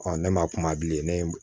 ne ma kuma bilen ne